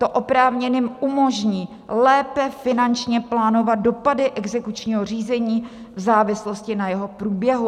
To oprávněným umožní lépe finančně plánovat dopady exekučního řízení v závislosti na jeho průběhu.